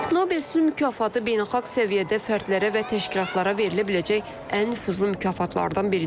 Nobel sülh mükafatı beynəlxalq səviyyədə fərdlərə və təşkilatlara verilə biləcək ən nüfuzlu mükafatlardan biridir.